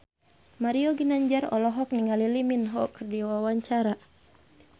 Mario Ginanjar olohok ningali Lee Min Ho keur diwawancara